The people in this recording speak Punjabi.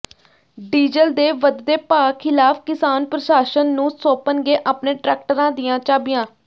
ਡੀਜ਼ਲ ਦੇ ਵਧਦੇ ਭਾਅ ਖ਼ਿਲਾਫ਼ ਕਿਸਾਨ ਪ੍ਰਸ਼ਾਸਨ ਨੂੰ ਸੌਂਪਣਗੇ ਆਪਣੇ ਟਰੈਕਟਰਾਂ ਦੀਆਂ ਚਾਬੀਆਂ